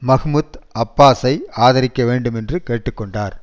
Mahmoud அப்பாஸை ஆதரிக்க வேண்டும் என்று கேட்டு கொண்டார்